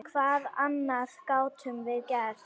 Hvað annað gátum við gert?